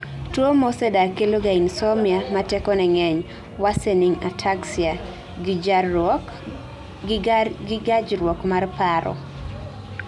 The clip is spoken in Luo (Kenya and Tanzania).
tuwo mosedak keloga insomnia ma tekone ng'eny, worsening ataxia, gi gajruok mar paro